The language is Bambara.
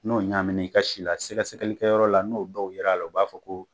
N'o ɲagamina i ka si la, sɛgɛsɛgɛlikɛ yɔrɔ la , n'o dɔw ye l'a la, u b'a fɔ ko